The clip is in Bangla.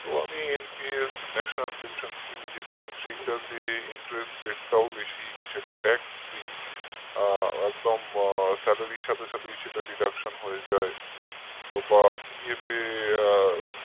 তো আমি NPSnationalpensionscheme যেটা সেইটাতে interestrate টাও বেশি আ সেটা TAXfree আ একদম salary র সাথে সাথে সেটা deduction হয়ে যায় বা PF এ